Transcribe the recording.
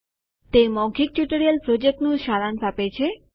તે મૌખિક ટ્યુટોરીયલ પ્રોજેક્ટનું સારાંશ આપે છે